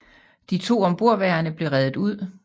De to ombordværende blev reddet ud